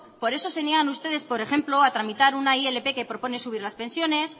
por eso se niegan ustedes por ejemplo a tramitar una ilp que propone subir las pensiones